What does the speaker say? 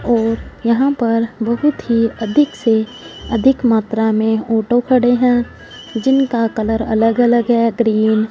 और यहां पर बहुत ही अधिक से अधिक मात्रा में ऑटो खड़े हैं जिनका कलर अलग अलग है ग्रीन --